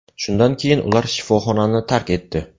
Shundan keyin ular shifoxonani tark etdi.